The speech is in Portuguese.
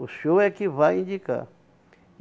O senhor é que vai indicar.